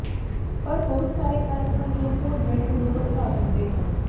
ਪਰ ਬਹੁਤ ਸਾਰੇ ਕਾਰਕ ਹਨ ਜੋ ਖੂਨ ਵਹਿਣ ਨੂੰ ਭੜਕਾ ਸਕਦੇ ਹਨ